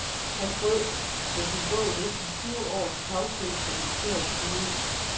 Han brød med sin bog næsten tyve års tavshed fra militærets side.